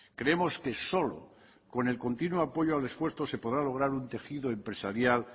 creemos que solo con el continuo apoyo al esfuerzo se podrá lograr un tejido empresarial